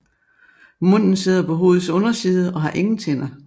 Munden sidder på hovedets underside og har ingen tænder